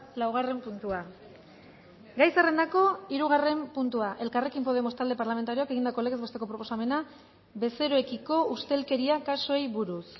laugarren puntua gai zerrendako hirugarren puntua elkarrekin podemos talde parlamentarioak egindako legez besteko proposamena bezeroekiko ustelkeria kasuei buruz